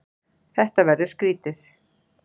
Þetta verður skrýtið.